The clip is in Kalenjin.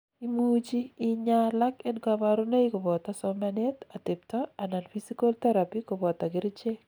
imuchi inyaa alak en kaborunoik koboto somanet, atebta anan physical therapy koboto kerichek